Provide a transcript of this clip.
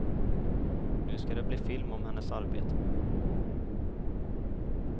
Nu ska det bli film om hennes arbete.